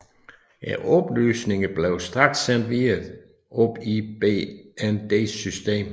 Oplysningerne blev straks sendt videre op i BNDs system